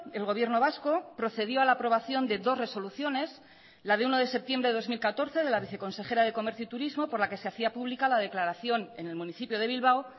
el gobierno vasco procedió a la aprobación de dos resoluciones la de uno de septiembre de dos mil catorce de la viceconsejera de comercio y turismo por la que se hacía pública la declaración en el municipio de bilbao